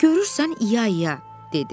Görürsən, i-ya i-ya, dedi.